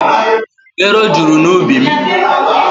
Ero juru n'ubi mụ.